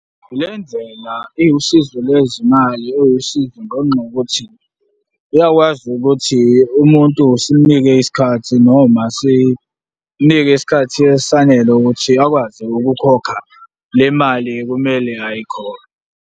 Le ndlela iwusizo lwezimali, iwusizo ngenxa yokuthi iyakwazi ukuthi umuntu simnike isikhathi noma sinike isikhathi esanele ukuthi akwazi ukukhokha le mali ekumele ayikhokhe.